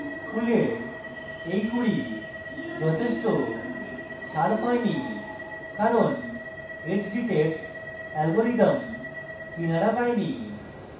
ফুলের এই কুঁড়ি যথেষ্ট sharp হয়নি কারণ edge detect algorithm কিনারা পায়নি